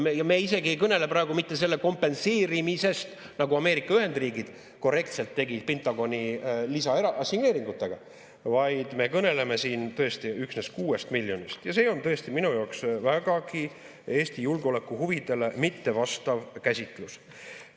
Ja me isegi ei kõnele praegu mitte selle kompenseerimisest, nagu Ameerika Ühendriigid korrektselt tegid Pentagoni lisaassigneeringutega, vaid me kõneleme siin tõesti üksnes 6 miljonist ja see on tõesti minu jaoks vägagi Eesti julgeolekuhuvidele mitte vastav käsitlus.